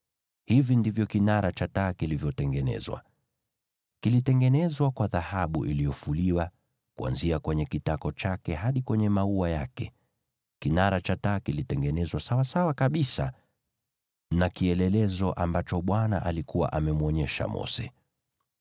Hivi ndivyo kinara cha taa kilivyotengenezwa: Kilitengenezwa kwa dhahabu iliyofuliwa, kuanzia kwenye kitako chake hadi kwenye maua yake. Kinara cha taa kilitengenezwa sawasawa kabisa na kielelezo ambacho Bwana alikuwa amemwonyesha Mose.